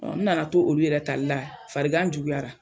Ɔ n nana to olu yɛrɛ tali la farigan juguyara